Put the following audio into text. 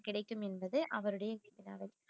கிடைக்கும் என்பது அவருடைய